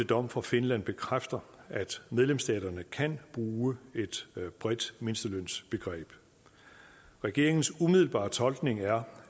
dom fra finland bekræfter at medlemsstaterne kan bruge et bredt mindstelønsbegreb regeringens umiddelbare tolkning er